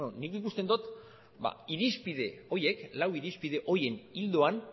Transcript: beno nik ikusten dut irizpide horiek lau irizpide horien ildoan